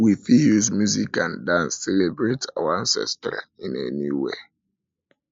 we fit use music and dance celebrate our ancestry in a new way